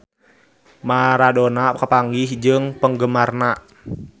Maradona papanggih jeung penggemarna